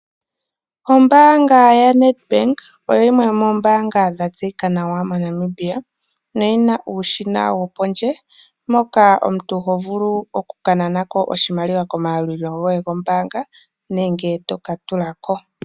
Ombaanga ya NedBank oyo yimwe yomoombanga dha tseyika nawa moNamibia, no yi na uushina wo pondje moka omuntu ho vulu okukanana ko oshimaliwa shoye komayalulilo gombaanga, nenge to ka tulako.